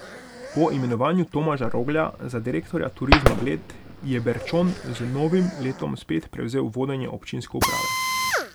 Po imenovanju Tomaža Roglja za direktorja Turizma Bled je Berčon z novim letom spet prevzel vodenje občinske uprave.